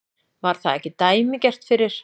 Var það ekki dæmigert fyrir